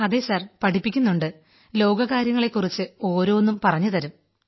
അതെ സർ പഠിപ്പിക്കുന്നുണ്ട് ലോകകാര്യങ്ങളെക്കുറിച്ച് ഓരോന്നും പറഞ്ഞുതരും